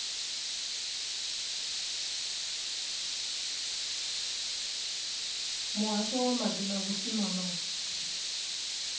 muhasho wa maḓi na vhusimama